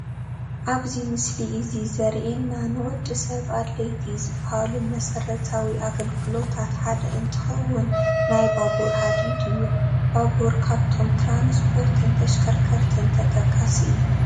ኣብዚ ምስሊ እዚ ዘሪኤና ንወዲ ሰብ ኣድለይቲ ዝባሃሉ መሰረታዊ ኣገልግሎታት ሓደ እንትኸውን ናይ ባቡር ሃዲድ እዩ፡፡ ባቡር ካብቶም ትራስፖርትን ተሽከርከርትን ተጠቃሲ እዩ፡፡